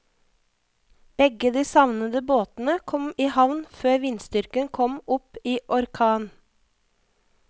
Begge de savnede båtene kom i havn før vindstyrken kom opp i orkan.